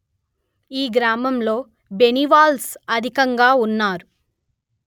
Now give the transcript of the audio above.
ఈ గ్రామంలో బెనివాల్స్ అధికంగా ఉన్నారు